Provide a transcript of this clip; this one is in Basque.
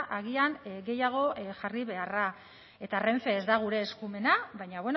agian gehiago jarri beharra eta renfe ez da gure eskumena baina